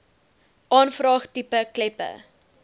aanvraag tipe kleppe